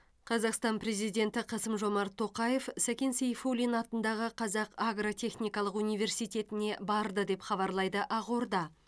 қазақстан президенті қасым жомарт тоқаев сәкен сейфуллин атындағы қазақ агротехникалық университетіне барды деп хабарлайды ақорда